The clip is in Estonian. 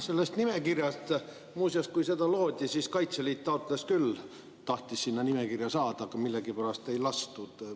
Sellest nimekirjast veel, et kui seda loodi, siis Kaitseliit taotles küll, tahtis sinna nimekirja saada, aga millegipärast ei lastud.